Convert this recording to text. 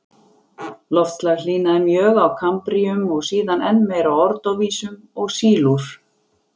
Loftslag hlýnaði mjög á kambríum og síðan enn meir á ordóvísíum og sílúr.